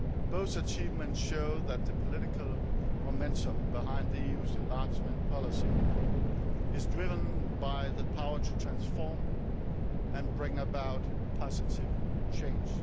Both achievements show that the political momentum behind the EU's enlargement policy is driven by the power to transform and bring about positive change.